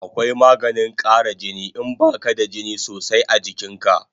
Akwai maganin kara jini in baka da jini sosai a jikin ka